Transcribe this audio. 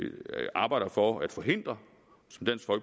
arbejder for at forhindre